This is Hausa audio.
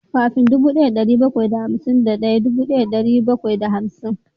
Kafin dubu daya da dari bakwai da hamsin daya dubu daya da dari bakwai da hamsin